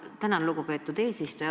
Tänan, lugupeetud eesistuja!